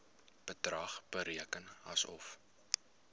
bedrag bereken asof